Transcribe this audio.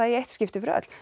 í eitt skipti fyrir öll